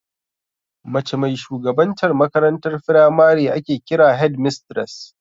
Mace mai shugabantar makarantar firamare ake kira "Headmistress"